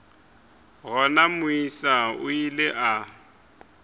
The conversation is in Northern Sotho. gona moisa o ile a